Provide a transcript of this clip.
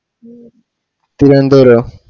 മു തിരോന്തോരൊ